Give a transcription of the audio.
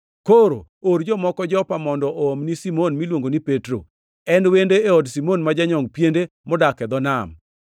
Koro or jomoko Jopa mondo oomni Simon miluongo ni Petro. En wendo e od Simon ma janyongʼ piende, modak e dho nam.’